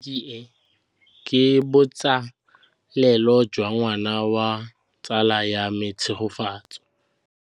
Tleliniki e, ke botsalêlô jwa ngwana wa tsala ya me Tshegofatso.